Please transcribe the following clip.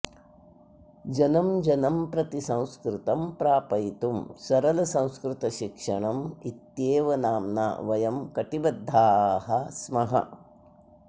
जनं जनं प्रति संस्कृतं प्रापयितुं सरलसंस्कृतशिक्षणम् इत्येव नाम्ना वयं कटिबद्धाः स्मः